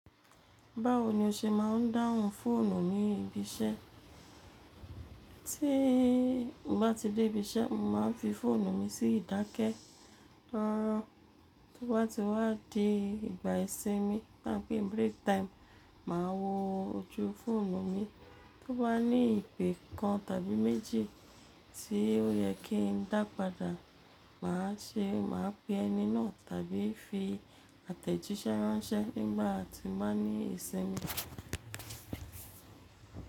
Báwo ni o ṣe máa ń dáhùn fóònù ní ibi iṣẹ́? Tíì bá ti dé ibi iṣẹ́, mo máa ń fi fóònù mi sí ìdákẹ́. Rárá, tó bá ti wá di ìgbà ìsinmi, tá ń pé break time, màá wo ojú fóònù mi. Tó bá ní ìpè kan tàbí méjì tí ó yẹ kí n dà padà, màá ṣe, màá pe ẹni náà tàbí fi àtẹ̀jíṣẹ́ ránṣẹ́ nígbà tí mbá ní ìsinmi.